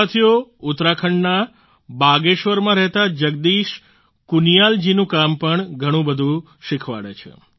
સાથીઓ ઉત્તરાંખડના બાગેશ્વરમાં રહેતા જગદીશ કુનિયાલ જીનું કામ પણ ઘણું બધું શિખવાડે છે